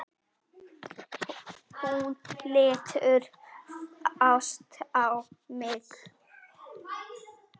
Hún lítur fast á mig.